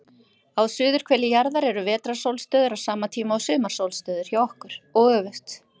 Á suðurhveli jarðar eru vetrarsólstöður á sama tíma og sumarsólstöður hjá okkur, og öfugt.